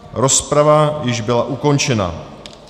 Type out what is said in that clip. Rozprava již byla ukončena.